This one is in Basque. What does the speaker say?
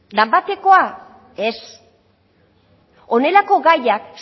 danbatekoa ez honelako gaiak